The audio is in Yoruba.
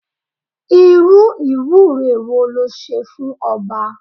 Irú ìwúre wo le ṣe fún ọba?